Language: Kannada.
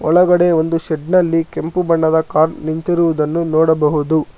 ಒಳಗಡೆ ಒಂದು ಶೆಡ್ ನಲ್ಲಿ ಕೆಂಪು ಬಣ್ಣದ ಕಾರ್ ನಿಂತಿರುವುದನ್ನು ನೋಡಬಹುದು.